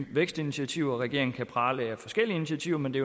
vækstinitiativer regeringen kan prale af forskellige initiativer men det